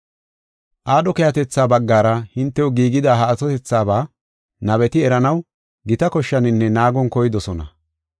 Aadho keehatetha baggara hintew giigida ha atotethaaba nabeti eranaw gita koshshaninne naagon koydosona.